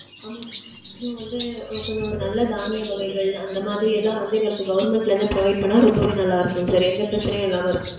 ஆமா sir கொஞ்சம் வந்து கொஞ்சம் ஒரு நல்ல தானிய வகைகள் அந்த மாதிரி எல்லாம் வந்து எங்களுக்கு Government ல இருந்து provide பண்ணா ரொம்பவே நல்லா இருக்கும் sir. எந்த பிரச்சினையும் இல்லாம இருக்கும்.